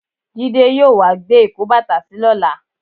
Jídé yóò wá gbé ìkóbàtàsí lọ́la.